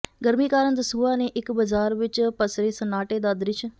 ਗਰਮੀ ਕਾਰਨ ਦਸੂਹਾ ਦੇ ਇਕ ਬਾਜ਼ਾਰ ਵਿੱਚ ਪਸਰੇ ਸੱਨਾਟੇ ਦਾ ਦ੍ਰਿਸ਼